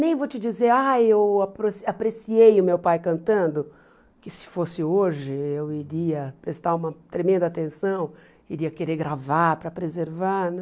Nem vou te dizer, ah, eu aproci apreciei o meu pai cantando, que se fosse hoje eu iria prestar uma tremenda atenção, iria querer gravar para preservar, né?